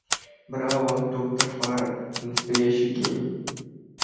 браво доктор фара вы настоящий гений